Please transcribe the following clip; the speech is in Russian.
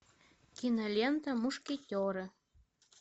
кинолента мушкетеры